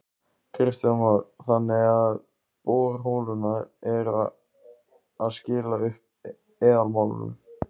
Kristján Már: Þannig að borholurnar eru að skila upp eðalmálmum?